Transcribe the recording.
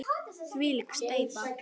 Þvílík steypa!